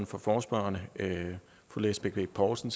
for forespørgerne fru lisbeth bech poulsen